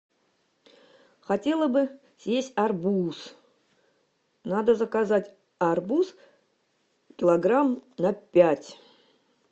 хотела бы съесть арбуз надо заказать арбуз килограмм на пять